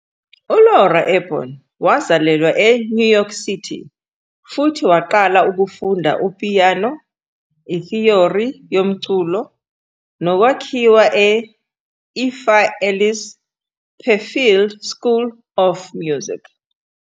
ULora Aborn wazalelwa eNew York City futhi waqala ukufunda upiyano, ithiyori yomculo nokwakhiwa e- Effa Ellis Perfield School of Music.